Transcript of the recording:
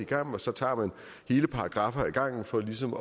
gang og så tager man hele paragraffer ad gangen for ligesom at